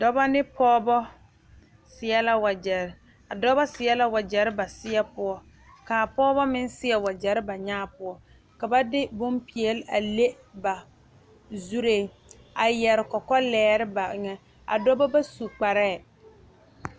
Dɔba ne pɔgeba seɛ la wagyɛre a dɔba seɛ la wagyɛre ba seɛ poɔ kaa pɔgeba meŋ seɛ wagyɛre ba nyaa poɔ ka de bompeɛle a le ba zuree a yɛre kɔkɔlɛɛ ba eŋa a dɔba ba su kparɛɛ